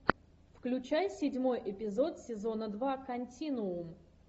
включай седьмой эпизод сезона два континуум